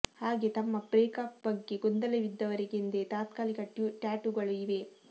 ಹಾಗೆ ತಮ್ಮ break up ಬಗ್ಗೆ ಗೊಂದಲವಿದ್ದವರಿಗೆಂದೇ ತಾತ್ಕಾಲಿಕ ಟ್ಯಾಟೂಗಳೂ ಇವೆ